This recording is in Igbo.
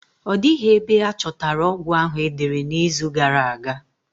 Ọ dịghị ebe a chọtara ọgwụ ahụ e dere n'izu gara aga.